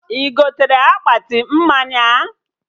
Ị gotere akpati mmanya?